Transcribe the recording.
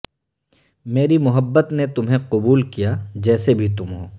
میری محبت نے تمہیں قبول کیا جیسے بھی تم ہو